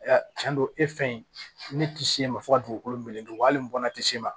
Tiɲɛ don e fɛ yen ne tɛ s'e ma fo ka dugukolo meleke wa hali n bɔnna tɛ s'e ma